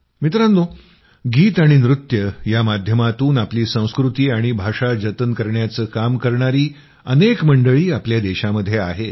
मित्रांनो गीत आणि नृत्य या माध्यमांतून आपली संस्कृती आणि भाषा जतन करण्याचं काम करणारी अनेक मंडळी आपल्या देशामध्ये आहेत